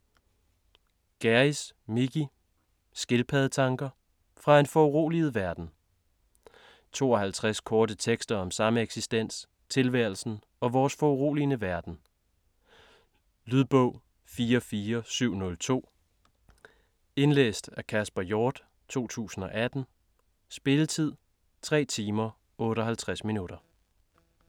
Gjerris, Mickey: Skildpaddetanker: fra en foruroliget verden 52 korte tekster om eksistensen, tilværelsen, og vores foruroligende verden. Lydbog 44702 Indlæst af Kasper Hjort, 2018. Spilletid: 3 timer, 58 minutter.